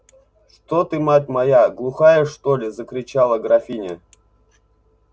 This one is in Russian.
что ты мать моя глухая что ли закричала графиня